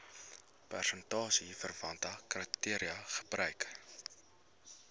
prestasieverwante kriteria gebruik